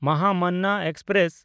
Mahamana express